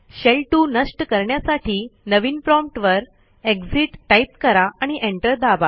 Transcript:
शेल2 नष्ट करण्यासाठी नवीन promptवर एक्सिट टाईप करा आणि एंटर दाबा